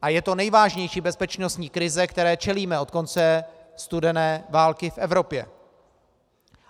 A je to nejvážnější bezpečnostní krize, které čelíme od konce studené války v Evropě.